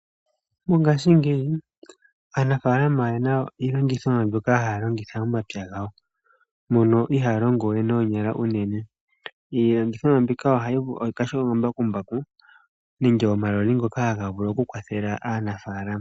Mongaashingeyi Aanafaalama oyena iilongithomwa mbyoka haya longitha momapya gawo .Iilongithomwa ongaashi omambakumbaku nenge omaloli ngoka haga vulu okukwathela aanafaalama.